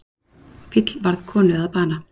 Fíll varð konu að bana